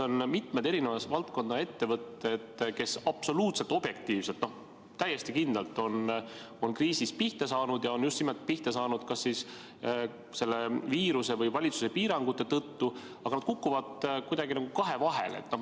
Minu käest on seda küsinud mitme valdkonna ettevõtted, kes absoluutselt objektiivselt võttes ja täiesti kindlalt on kriisis pihta saanud ja on pihta saanud just nimelt kas siis selle viiruse või valitsuse piirangute tõttu, aga nad kukuvad kuidagi nagu kahe vahele.